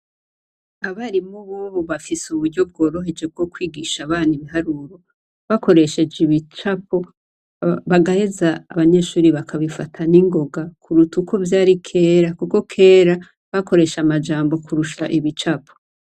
Abarimu bubu bafise uburyo bworoheje bwo kwigisha abana ibiharuro, bakoresheje ibicapo bagaheza abanyeshuri bakabifata n' ingoga kuruta uko vyari kera, kuko kera bakoresha amajambo kurusha ibicapo.